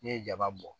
N'i ye jaba bɔ